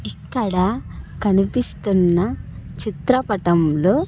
ఇక్కడ కనిపిస్తున్న చిత్రపటంలో.